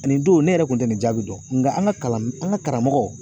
Ani don ne yɛrɛ kun tɛ nin jaabi dɔn nka an ka kalan an ka karamɔgɔ.